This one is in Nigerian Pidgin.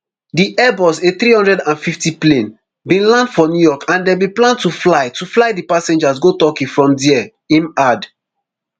di airbus athree hundred and fifty plane bin land for new york and dem bin plan to fly to fly di passengers go turkey from dia im add